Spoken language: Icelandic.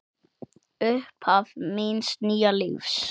Upphaf míns nýja lífs.